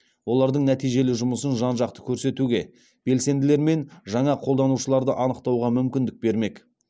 олардың нәтижелі жұмысын жан жақты көрсетуге белсенділер мен жаңа қолданушыларды анықтауға мүмкіндік бермек